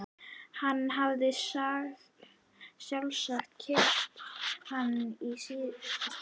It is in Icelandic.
Hann hafði sjálfsagt keypt hann í síðustu siglingu.